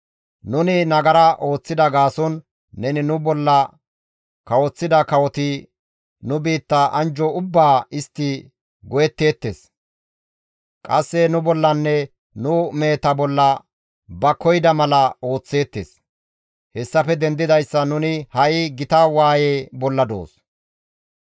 Nuni nagara ooththida gaason neni nu bolla kawoththida kawoti nu biitta anjjo ubbaa istti go7etteettes; qasse nu bollanne nu meheta bolla ba koyida mala ooththeettes; hessafe dendidayssan nuni ha7i gita waaye bolla doos.